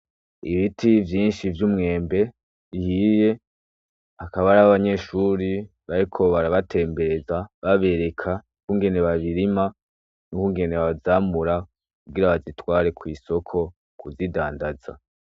Ibiti vyinshi vy'umwembe ,bihiye hakaba hariho abanyeshuri bariko baraba tembereza babereka ingene babirima n'ukungene bayamura kugira bayitware kw'isoko kuyidandaza.